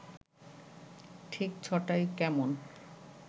ঠিক ছ’টায় কেমন